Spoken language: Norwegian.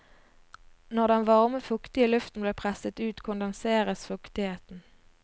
Når den varme, fuktige luften blir presset ut, kondenseres fuktigheten.